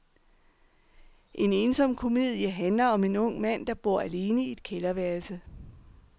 En ensom komedie handler om en ung mand, der bor alene i et kælderværelse.